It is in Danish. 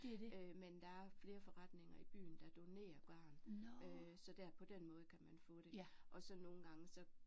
Øh men der er flere forretninger i byen der donerer garn øh så der på den måde kan man få det og så nogle gange så